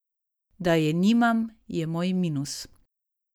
Da je nimam, je moj minus.